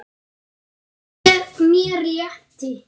Mér létti.